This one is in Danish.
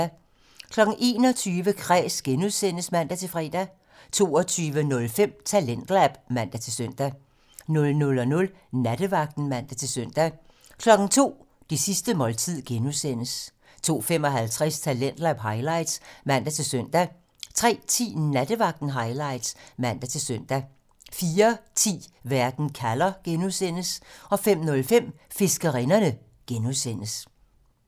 21:05: Kræs (G) (man-fre) 22:05: Talentlab (man-søn) 00:00: Nattevagten (man-søn) 02:00: Det sidste måltid (G) 02:55: Talentlab highlights (man-søn) 03:10: Nattevagten Highlights (man-søn) 04:10: Verden kalder (G) 05:05: Fiskerinderne (G)